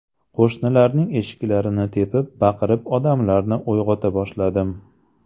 Qo‘shnilarning eshiklarini tepib, baqirib odamlarni uyg‘ota boshladim.